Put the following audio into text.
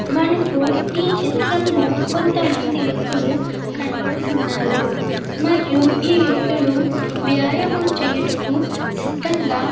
మనకు ఈ చిత్రంలో కొంతమంది వ్యక్తులు కనబడుచున్నారు. మరియు ఈ వ్యక్తులు వ్యాయామం చేయటకు సిద్దంగా --